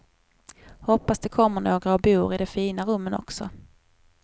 Hoppas det kommer några och bor i de fina rummen också.